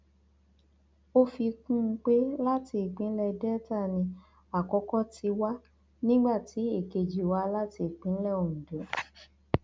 ó fi kún un pé láti ìpínlẹ delta ni àkókò ti wà nígbà tí èkejì wá láti ìpínlẹ ondo